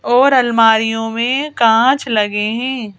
और अलमारियों में कांच लगे हैं।